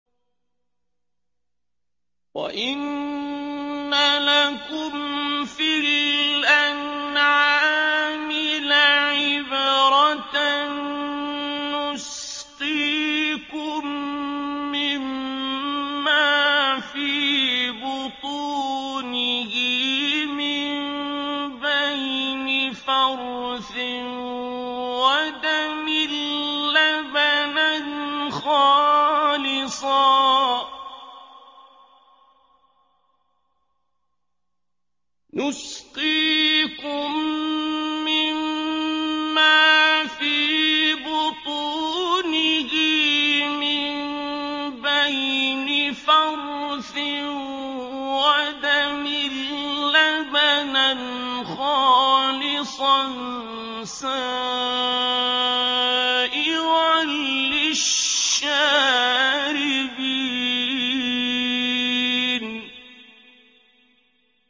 وَإِنَّ لَكُمْ فِي الْأَنْعَامِ لَعِبْرَةً ۖ نُّسْقِيكُم مِّمَّا فِي بُطُونِهِ مِن بَيْنِ فَرْثٍ وَدَمٍ لَّبَنًا خَالِصًا سَائِغًا لِّلشَّارِبِينَ